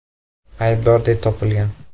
aybdor deb topilgan.